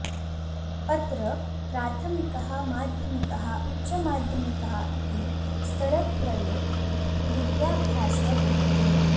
अत्र प्राथमिकः माध्यमिकः उच्चमाध्यमिकः इति स्तरत्रये विद्याभ्यासः भवति